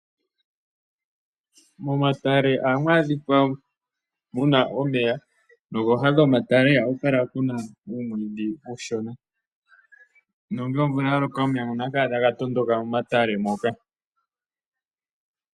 Momatale ohamu adhika muna omeya, nokooha dhomatale ohaku kala kuna uumwiidhi uushona, nongele omvula ya loka, omeya ngono ohaga kala taga tondoka momatale moka.